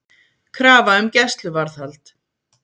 Krafa um gæsluvarðhald